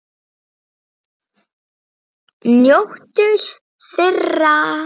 Njóttu þeirra!